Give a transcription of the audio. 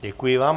Děkuji vám.